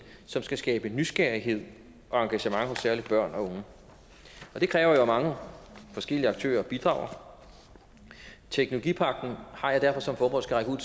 som skal skabe nysgerrighed og engagement hos særlig børn og unge det kræver at mange forskellige aktører bidrager og teknologipagten har jeg derfor som formål skal række ud